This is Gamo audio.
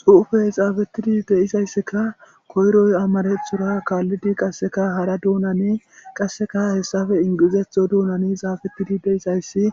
xuufey xaafettidi de'izayssikka koyroy amarethora kaallidi qasseka hara duunane qasseka hessafe ingizetho duunani xaafettidi deisayssi